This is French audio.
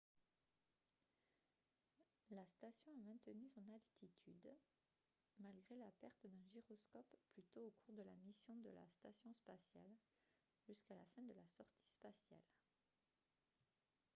la station a maintenu son attitude malgré la perte d'un gyroscope plus tôt au cours de la mission de la station spatiale jusqu'à la fin de la sortie spatiale